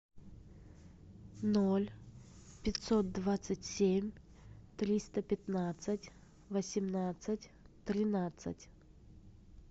ноль пятьсот двадцать семь триста пятнадцать восемнадцать тринадцать